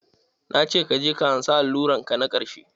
Na ce kaje ka ansa alluran ka na ƙarshe!